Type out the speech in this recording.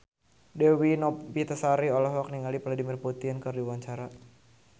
Dewi Novitasari olohok ningali Vladimir Putin keur diwawancara